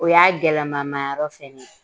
O y'a gɛlɛyalamamayɔrɔ fɛnɛ ye